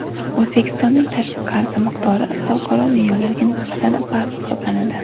O‘zbekistonning tashqi qarzi miqdori xalqaro me’yorlarga nisbatan past hisoblanadi.